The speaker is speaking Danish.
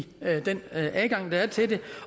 den adgang der er til det